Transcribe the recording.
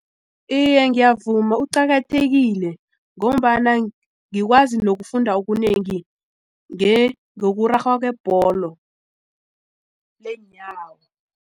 Iye, ngiyavuma kuqakathekile ngombana ngikwazi nokufunda okunengi ngokurarhwa kwebholo leenyawo.